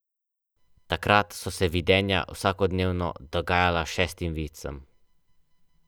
Treba je ostati znotraj okvirov, če hočeš preživeti.